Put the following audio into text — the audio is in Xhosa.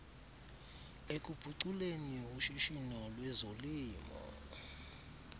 ekuphuculeni ushishino lwezolimo